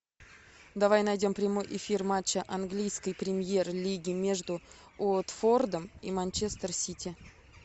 давай найдем прямой эфир матча английской премьер лиги между уотфордом и манчестер сити